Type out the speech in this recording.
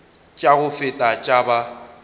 tša go feta tša ba